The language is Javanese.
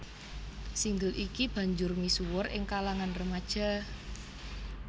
Single iki banjur misuwur ing kalangan remaja